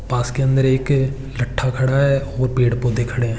पास के अन्डर एक लट्ठा खडा है और पेड़ पौधे खड़े है।